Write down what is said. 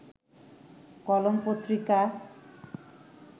কলম পত্রিকা